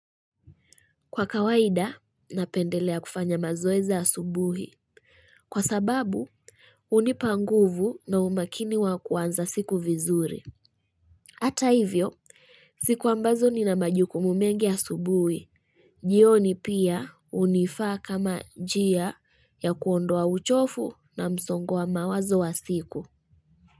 Kwa kawaida, napendelea kufanya mazoezi asubuhi. Kwa sababu, hunipa nguvu na umakini wa kwanza siku vizuri. Hata hivyo, siku ambazo nina majukumu mengi ya asubuhi jioni pia hunifaa kama njia ya kuondoa uchofu na msongo wa mawazo wa siku.